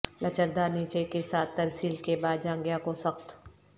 لچکدار نیچے کے ساتھ ترسیل کے بعد جاںگھیا کو سخت